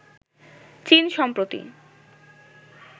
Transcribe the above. চীন সম্প্রতি